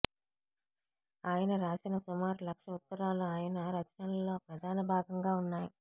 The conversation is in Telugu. ఆయన రాసిన సుమారు లక్ష ఉత్తరాలు ఆయన రచనలలో ప్రధాన భాగంగా ఉన్నాయి